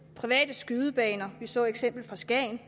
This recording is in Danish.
private skydebaner vi så eksemplet fra skagen